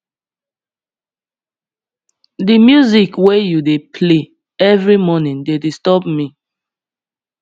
di music wey you dey play every morning dey disturb me